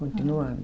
Continuando.